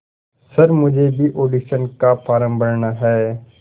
sir मुझे भी audition का फॉर्म भरना है